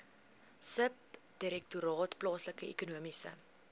subdirektoraat plaaslike ekonomiese